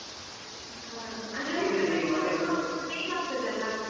ಹಾ ಅಂದ್ರೆ ಹೊರಗಡೆ ಹೋಗುವಾಗ ಬೇಕಾಗ್ತದಲ್ಲ.